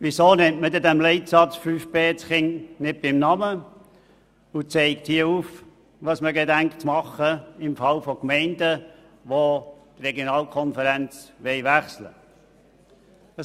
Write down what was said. Weshalb nennt man in Leitsatz 5 das Kind nicht beim Namen und zeigt auf, was man vorhat, wenn Gemeinden die Regionalkonferenz wechseln wollen?